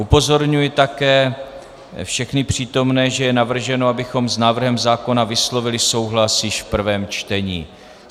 Upozorňuji také všechny přítomné, že je navrženo, abychom s návrhem zákona vyslovili souhlas již v prvém čtení.